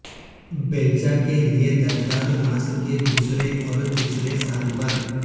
بیلچہ کے لئے درکار ماس کے دوسرے اور تیسرے سال پر